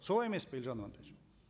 солай емес пе елжан амантаевич